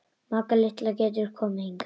Magga litla getur komið hingað.